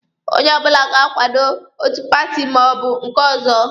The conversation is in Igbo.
Onye ọbụla ga-akwado otu paati ma ọ bụ nke ọzọ.